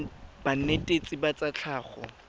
la banetetshi ba tsa tlhago